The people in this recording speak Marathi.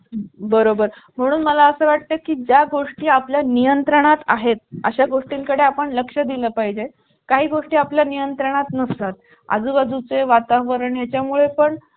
चालू स्थितीत आहे चालते शेगडी दोन burner आहे तिला